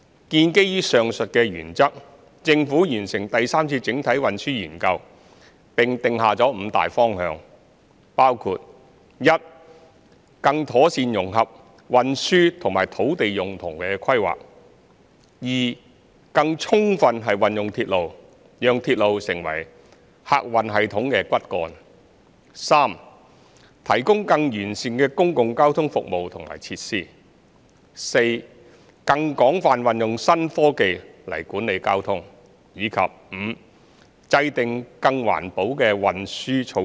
建基於上述原則，政府完成第三次整體運輸研究，並定下5個大方向，包括 i 更妥善融合運輸與土地用途規劃；更充分運用鐵路，讓鐵路成為客運系統的骨幹；提供更完善的公共交通服務和設施；更廣泛運用新科技來管理交通；以及 v 制訂更環保的運輸措施。